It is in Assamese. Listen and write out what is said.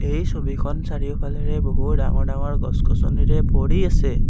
এই ছবিখন চাৰিওফালেৰে বহু ডাঙৰ ডাঙৰ গছ গছনিৰে ভৰি আছে।